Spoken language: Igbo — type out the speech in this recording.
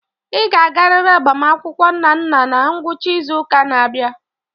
Ị ga-agarịrị agbamakwụkwọ Nnanna na ngwụcha izu ụka na-abịa.